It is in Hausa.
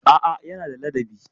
A'a, yana da ladabi.